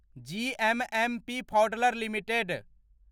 GMMP Pfaudler limited